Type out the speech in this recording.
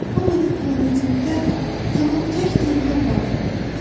O mənim planetimdə tamam tək-tənha qaldı.